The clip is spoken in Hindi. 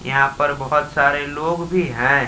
यहां पर बहुत सारे लोग भी हैं।